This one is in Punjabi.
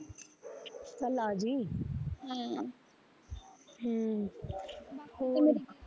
ਚੱਲ ਆਜੀ ਹਮ ਹਮ